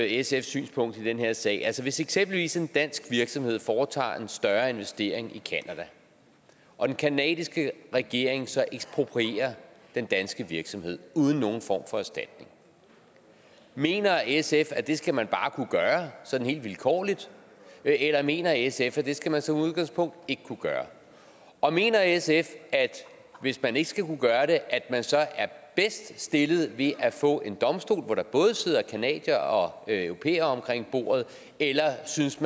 sfs synspunkt i den her sag altså hvis eksempelvis en dansk virksomhed foretager en større investering i canada og den canadiske regering så eksproprierer den danske virksomhed uden nogen form for erstatning mener sf at det skal man bare kunne gøre sådan helt vilkårligt eller mener sf at det skal man som udgangspunkt ikke kunne gøre og mener sf hvis man ikke skal kunne gøre det at man så er bedst stillet ved at få en domstol hvor der både sidder canadiere og europæere omkring bordet eller synes